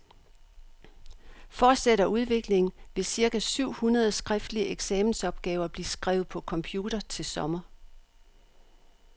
Fortsætter udviklingen, vil cirka syv hundrede skriftlige eksamensopgaver blive skrevet på computer til sommer.